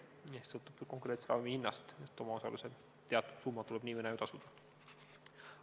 Kõik sõltub konkreetselt ravimi hinnast, omaosaluse teatud summa tuleb ju tasuda nii või naa.